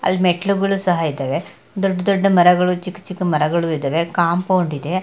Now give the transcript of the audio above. ಅಲ್ ಮೆಟ್ಟಿಲುಗಳು ಸಹ ಇದ್ದವೇ. ದೊಡ್ ದೊಡ್ಡ ಮರಗಳು ಚಿಕ್ ಚಿಕ್ಕ ಮರಗಳು ಇದ್ದವೇ ಕಾಂಪೌಂಡ್ ಇದೆ.